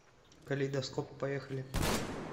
калейдоскоп поехали